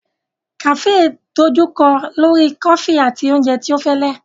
Cafes idojukọ lori kofi ati oúnjẹ tí ọ fẹlẹ.